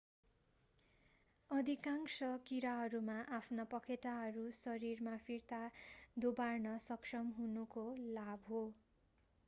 अधिकांश कीराहरूमा आफ्ना पखेटाहरू शरीरमा फिर्ता दोबार्न सक्षम हुनुको लाभ हुन्छ